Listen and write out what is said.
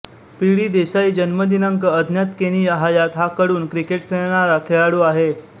P D Desai जन्म दिनांक अज्ञातकेनिया हयात हा कडून क्रिकेट खेळणारा खेळाडू आहे